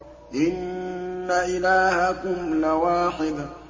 إِنَّ إِلَٰهَكُمْ لَوَاحِدٌ